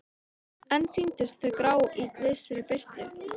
En sýndust þó grá í vissri birtu.